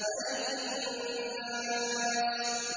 مَلِكِ النَّاسِ